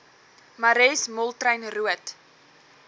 marais moltrein roodt